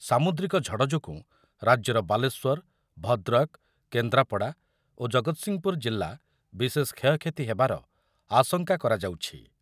ସାମୁଦ୍ରିକ ଝଡ଼ ଯୋଗୁଁ ରାଜ୍ୟର ବାଲେଶ୍ୱର, ଭଦ୍ରକ, କେନ୍ଦ୍ରାପଡା ଓ ଜଗତସିଂହପୁର ଜିଲ୍ଲା ବିଶେଷ କ୍ଷୟକ୍ଷତି ହେବାର ଆଶଙ୍କା କରାଯାଉଛି ।